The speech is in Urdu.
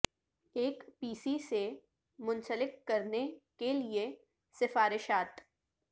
ایک پی سی سے منسلک کرنے کے لئے سفارشات